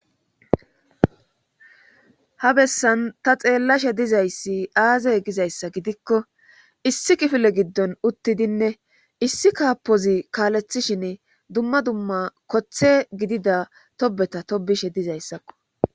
Ha bessan ta xeellashe dizayssi aazey gizayssa gidikko issi kifile giddon uttidinne issi kaapozi kaalethishin dumma dumma koththe gidida tobeta tobishe dizayssakko.